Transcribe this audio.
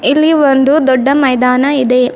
ಇಲ್ಲಿ ಒಂದು ದೊಡ್ಡ ಮೈದಾನ ಇದೆ.